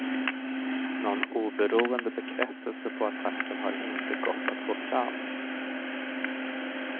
Någon oberoende bekräftelse på attacken har inte gått att få fram.